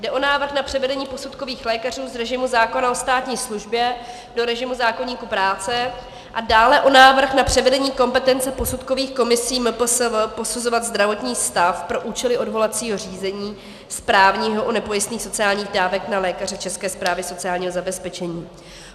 Jde o návrh na převedení posudkových lékařů z režimu zákona o státní službě do režimu zákoníku práce a dále o návrh na převedení kompetence posudkových komisí MPSV posuzovat zdravotní stav pro účely odvolacího řízení správního u nepojistných sociálních dávek na lékaře České správy sociálního zabezpečení.